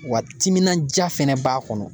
Wa timinandiya fɛnɛ b'a kɔnɔ